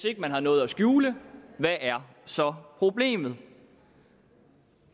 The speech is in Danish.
ikke har noget at skjule hvad er så problemet